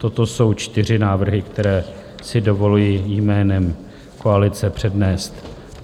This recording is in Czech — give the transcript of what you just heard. Toto jsou čtyři návrhy, které si dovoluji jménem koalice přednést.